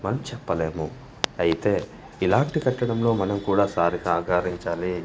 మన్ చెప్పలేము అయితే ఇలాంటి పెట్టడంలో మనం కూడా సారి సహకారించాలి.